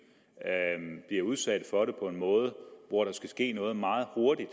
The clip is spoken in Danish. bliver udsat for det på en måde hvor der skal ske noget meget hurtigt